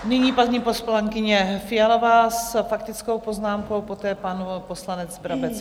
Nyní paní poslankyně Fialová s faktickou poznámkou, poté pan poslanec Brabec.